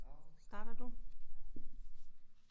Starter du?